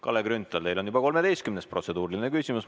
Kalle Grünthal, teil on juba 13. protseduuriline küsimus.